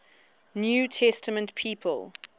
new testament people